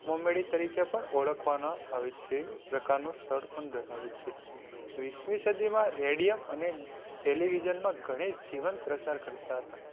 મોમેડી તરીકે ઓળખવામાં આવે છે, સ્થળ પણ ધરાવે છે. વીસમી સદી માં Radium અને Television માં ઘણી જીવંત પ્રસાર કરતાં હતા.